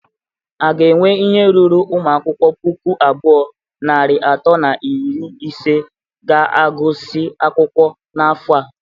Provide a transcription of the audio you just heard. A ga enwe ihe ruru ụmụ akwụkwọ puku abụọ, narị atọ na iri ise ga-agụsị akwụkwọ n'afọ a?